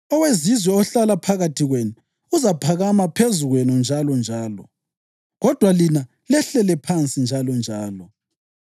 Owezizwe ohlala phakathi kwenu uzaphakama phezu kwenu njalonjalo, kodwa lina lehlele phansi njalonjalo.